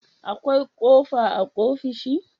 akwai kofa a ofishi